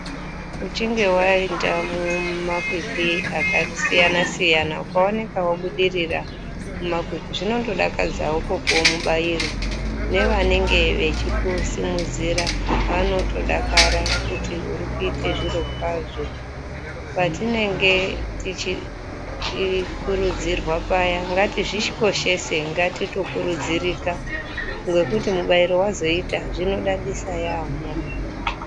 Uchinge waenda mumakwikwi akasiyana siyana ukaoneka wabudirira mumakwikwi zvinondodakadzawo kupuwe mubairo nevanenge vechikusimudzira vanotodakara kuti uri kuite zviro kwazvo. Patinenge tichikurudzirwa paya ngatizvikoshese ngatitokurudzirika ngekuti mubairo wazoita zvinodadisa yaampho.